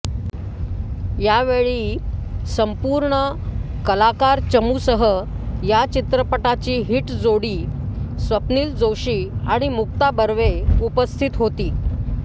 यावेळी संपूर्ण कलाकार चमूसह या चित्रपटाची हिट जोडी स्वप्नील जोशी आणि मुक्ता बर्वे उपस्थित होती